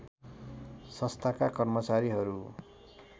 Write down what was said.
संस्थाका कर्मचारीहरू